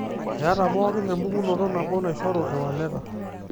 Eeta pookin empukunoto nabo, naishoru iwaleta.